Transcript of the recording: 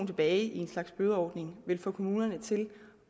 tilbage i en slags bødeordning vil få kommunerne til